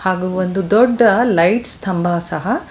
ಹಾಗೂ ಒಂದು ದೊಡ್ಡ ಲೈಟ್ ಸ್ತಂಭ ಸಹ.